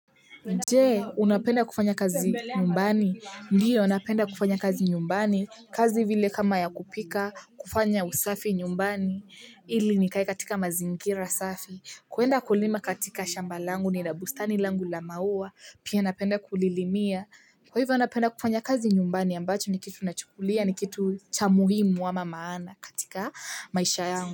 Je unapenda kufanya kazi nyumbani, ndio napenda kufanya kazi nyumbani, kazi vile kama ya kupika, kufanya usafi nyumbani, hili nikae katika mazingira safi, kuenda kulima katika shamba langu nina bustani langu la maua, pia napenda kulilimia. Kwa hivyo napenda kufanya kazi nyumbani ambacho ni kitu nachukulia ni kitu cha muhimu ama maana katika maisha yangu.